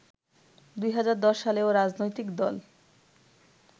২০১০ সালেও রাজনৈতিক দল